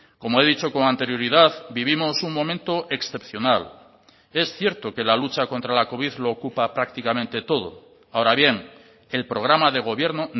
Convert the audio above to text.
como he dicho con anterioridad vivimos un momento excepcional es cierto que la lucha contra la covid lo ocupa prácticamente todo ahora bien el programa de gobierno